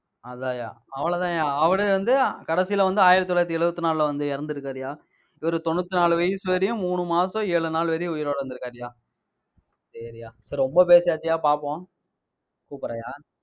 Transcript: அதான்யா அவ்வளவுதான்யா, அவரே வந்து, கடைசியில வந்து ஆயிரத்து தொள்ளாயிரத்து எழுபத்து நாலுல வந்து இறந்திருக்காருய்யா. இவரு தொண்ணூத்தி நாலு வயசு வரையும், மூணு மாசம் ஏழு நாள் வரையும் உயிரோட இருந்துருக்காருய்யா சரிய்யா சரி ரொம்ப பேசியாச்சுயா பார்ப்போம் கூப்பிடறேன்யா